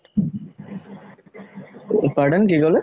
pardon কি ক'লে?